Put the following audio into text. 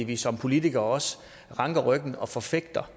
vi som politikere ranker ryggen og forfægter